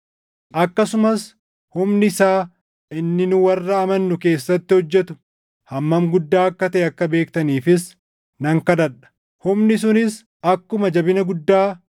akkasumas humni isaa inni nu warra amannu keessatti hojjetu hammam guddaa akka taʼe akka beektaniifis nan kadhadha. Humni sunis akkuma jabina guddaa